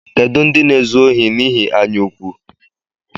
Kedu ndị na-ezu ohi n’ihi anyaụkwụ?